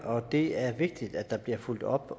og det er vigtigt at der bliver fulgt op